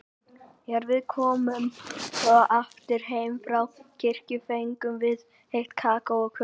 Þegar við komum svo aftur heim frá kirkju fengum við heitt kakó og kökur.